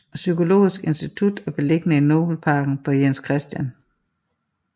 Psykologisk Institut er beliggende i Nobelparken på Jens Chr